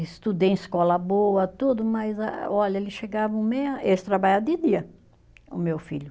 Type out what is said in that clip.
Estudei em escola boa, tudo, mas a, olha, eles chegavam meia, eles trabalhavam de dia, o meu filho.